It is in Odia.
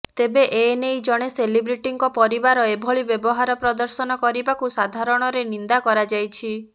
ତେବେ ଏନେଇ ଜଣେ ସେଲିବ୍ରିଟିଙ୍କ ପରିବାର ଏଭଳି ବ୍ୟବହାର ପ୍ରଦର୍ଶନ କରିବାକୁ ସାଧାରଣରେ ନିନ୍ଦା କରାଯାଇଛି